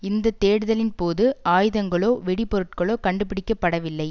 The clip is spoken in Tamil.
இந்த தேடுதலின் போது ஆயுதங்களோ வெடி பொருட்களோ கண்டு பிடிக்கப்படவில்லை